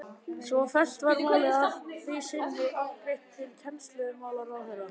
Svo fellt var málið að því sinni afgreitt til kennslumálaráðherra.